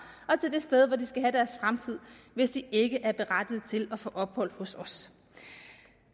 og til det sted hvor de skal have deres fremtid hvis de ikke er berettiget til at få ophold hos os